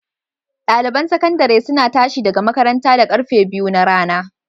Ɗaliban sakandare suna tashi daga makaranta da karfe biyu na rana.